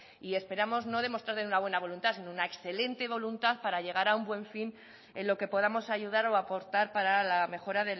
y esperamos no demostrarle una buena voluntad sino una excelente voluntad para llegar a un buen fin en lo que podamos ayudar o aportar para la mejora